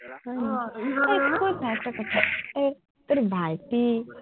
হয় নেকি আৰু একটা কথা, ঐ তোৰ ভাইটি